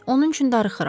Onun üçün darıxıram.